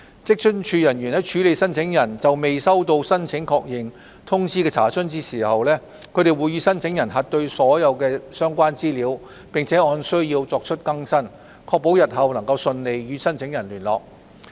職津處人員在處理申請人就未收到申請確認通知的查詢時，會與申請人核對所有相關資料，並按需要作出更新，確保日後能順利與申請人聯絡。